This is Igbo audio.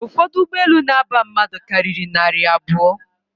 Ụfọdụ ụgbọelu na-aba mmadụ karịrị narị abụọ